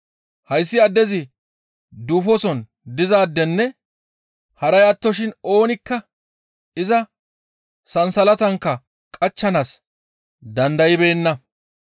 Hayssi addezi duufoson dizaadenne haray attoshin oonikka iza sansalatankka qachchanaas dandaybeenna.